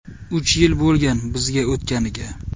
Uch yil bo‘lgan bizga o‘tganiga.